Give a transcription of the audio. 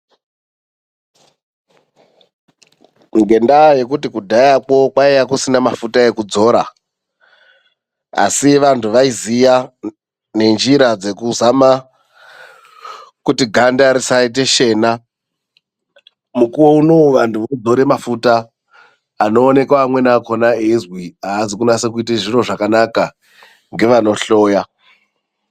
Ngendaa yekuti kudhayakwo kwaiye kusina mafuta ekudzora. Asi vantu vaiziya nenjira dzekuzama kuti ganda risayite shena. Mukuwo unowu vantu vakudzora mafuta anoonekwa amweni akona eyizwi haazi kunasa kuita zviro zvakanaka ngevanohloya.